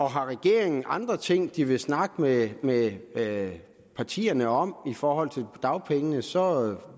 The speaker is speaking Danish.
har regeringen andre ting de vil snakke med med partierne om i forhold til dagpengene så